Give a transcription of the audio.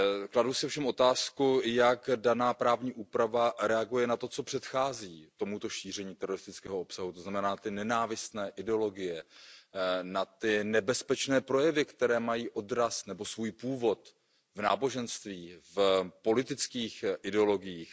Kladu si ovšem otázku, jak daná právní úprava reaguje na to, co předchází tomuto šíření teroristického obsahu, to znamená na nenávistné ideologie, na nebezpečné projevy, které mají odraz nebo svůj původ v náboženství, v politických ideologiích.